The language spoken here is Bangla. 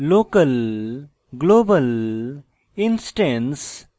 local local global global instance instance এবং